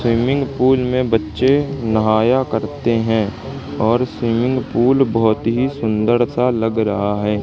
Swimming pool में बच्चे नहाया करते हैं और स्विमिंग पूल बहोत ही सुंदर सा लग रहा है।